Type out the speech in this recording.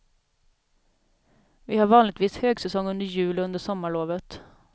Vi har vanligtvis högsäsong under jul och under sommarlovet.